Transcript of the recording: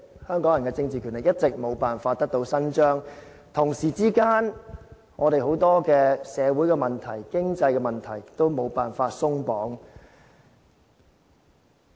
香港人的政治權力一直沒有辦法得到伸張，同時間，我們很多社會問題、經濟問題，都沒有辦法鬆綁。